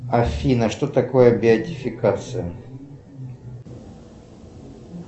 афина что такое беатификация